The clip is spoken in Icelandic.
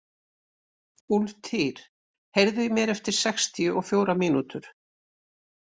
Úlftýr, heyrðu í mér eftir sextíu og fjórar mínútur.